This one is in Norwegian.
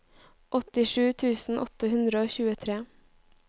åttisju tusen åtte hundre og tjuetre